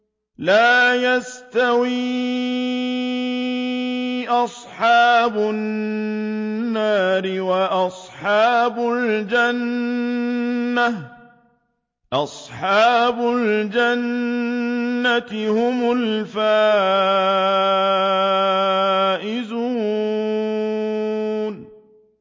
لَا يَسْتَوِي أَصْحَابُ النَّارِ وَأَصْحَابُ الْجَنَّةِ ۚ أَصْحَابُ الْجَنَّةِ هُمُ الْفَائِزُونَ